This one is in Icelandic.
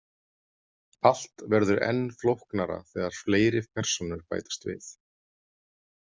Allt verður enn flóknara þegar fleiri persónur bætast við.